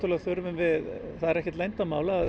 þurfum við það er ekkert leyndarmál að